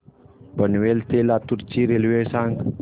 पनवेल ते लातूर ची रेल्वे सांगा